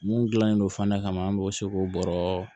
Mun gilanlen do fana kama an b'o se k'o bɔrɔ